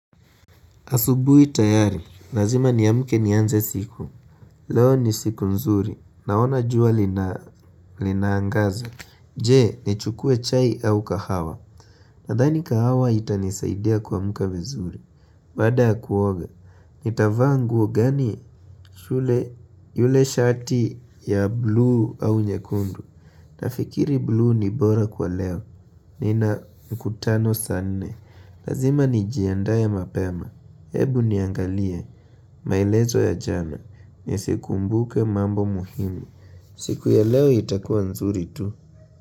Asubuhi tayari, lazima niamke nianze siku, leo ni siku nzuri, naona jua linaangaza, je nichukue chai au kahawa, nadhani kahawa itanisaidia kuamka vizuri, baada ya kuoga, nitavaa nguo gani shule yule shati ya bluu au nyekundu, nafikiri bluu ni bora kwa leo, nina mkutano saa nne, lazima nijiandae mapema, hebu niangalie, maelezo ya jana Nisikumbuke mambo muhimu siku ya leo itakuwa nzuri tu.